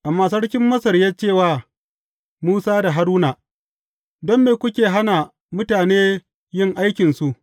Amma sarkin Masar ya ce wa, Musa da Haruna, don me kuke hana mutane yin aikinsu?